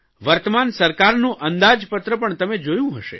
વર્તમાન સરકારનું અંદાજપત્ર પણ તમે જોયું હશે